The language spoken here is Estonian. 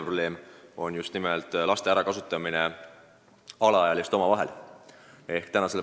See on minu arvates väga tõsine puudujääk.